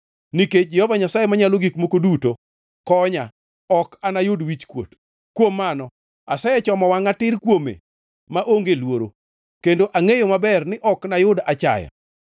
Nikech Jehova Nyasaye Manyalo Gik Moko Duto konya, ok anayud wichkuot. Kuom mano, asechomo wangʼa tir kuome maonge luoro kendo angʼeyo maber ni ok nayud achaya.